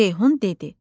Ceyhun dedi: